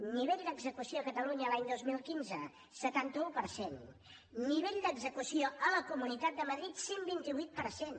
nivell d’execució a catalunya l’any dos mil quinze setanta un per cent nivell d’execució a la comunitat de madrid cent i vint vuit per cent